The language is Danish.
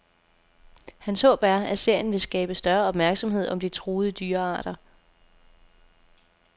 Hans håb er, at serien vil skabe større opmærksomhed om de truede dyrearter.